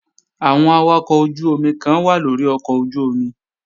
Àwọn awakọ̀ ojú-omi kan wà lórí ọkọ̀ ojú-omi